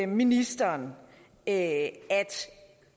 ministeren at